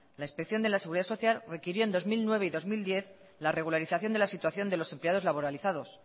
la inspección de la seguridad social requirió en dos mil nueve y dos mil diez la regularización de la situación de los empleados laboralizados